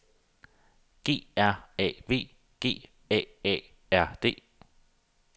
G R A V G A A R D